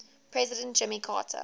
president jimmy carter